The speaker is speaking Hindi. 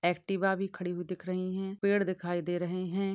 एक्टिवा भी खड़ी हुई दिख रही है पेड़ दिखाई दे रहे है।